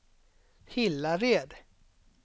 Hillared